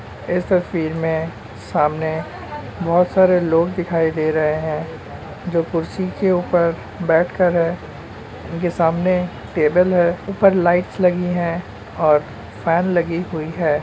इस तस्वीर में सामने बहुत सारे लोग दिखाई दे रहे हैं। जो कुर्सी के ऊपर बैठकर-अ उनके सामने टेबल है ऊपर लाइट्स लगी है और फैन लगी हुई है।